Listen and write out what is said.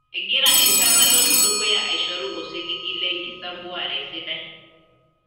Egira enchan naloito dukuya aishoru osiligi le nkisampuare sidai.